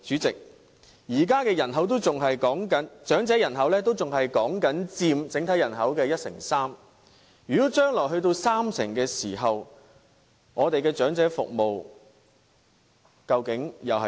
代理主席，現時長者人口仍然只佔整體人口的一成三，如果將來佔三成，我們的長者服務會變成怎樣呢？